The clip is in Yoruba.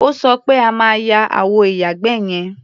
O sọ pé o máa ya àwọ ìyàgbẹ́ yẹn.